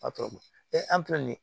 an filɛ nin ye